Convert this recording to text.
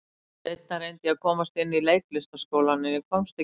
Seinna reyndi ég að komast inn í Leiklistarskólann, en ég komst ekki inn.